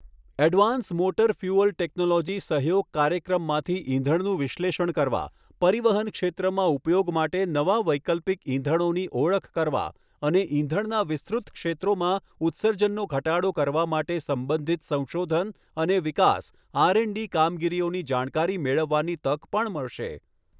Advance motor fuel technology સહયોગ કાર્યક્રમમાંથી ઇંધણનું વિશ્લેષણ કરવા, પરિવહન ક્ષેત્રમાં ઉપયોગ માટે નવા વૈકલ્પિક ઇંધણોની ઓળખ કરવા અને ઇંધણનાં વિસ્તૃત ક્ષેત્રોમાં ઉત્સર્જનનો ઘટાડો કરવા માટે સંબંધિત સંશોધન અને વિકાસ આરએન્ડડી કામગીરીઓની જાણકારી મેળવવાની તક પણ મળશે.